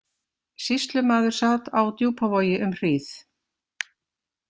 Sýslumaður sat á Djúpavogi um hríð.